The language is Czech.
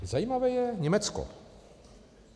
Zajímavé je Německo.